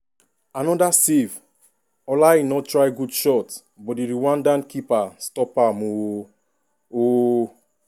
another save!!!ola aina try good shot but di rwandan goalkeeper stop am ooooooo. ooooooo.